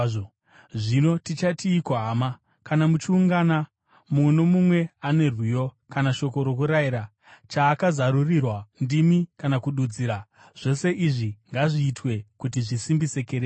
Zvino tichatiiko, hama? Kana muchiungana, mumwe nomumwe ane rwiyo, kana shoko rokurayira, chaakazarurirwa, ndimi kana kududzira. Zvose izvi ngazviitwe kuti zvisimbise kereke.